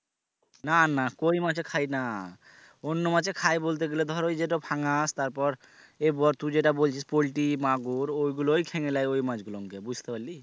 না না কই মাছে খাই না অন্য মাছে খায় বলতে গেলে ধর ওই যেটা ফাঙাস তারপর এ তুই যেটা বলছিস পোল্টি মাগুর ওই গুলোই খেয়ে লেই ওই মাছ গুলোন কে বুঝতে পারলি?